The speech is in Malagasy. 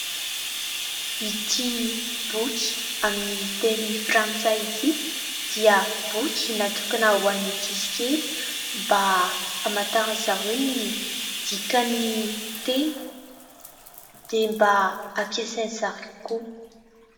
Ity boky amin'ny teny frantsay ity, dia boky natokana ho an'ny ankizikely, mba amantaran'izy ireo ny dikan'ny teny dia mba ampisain'izy ireo koa.